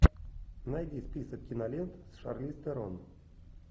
найди список кинолент с шарлиз терон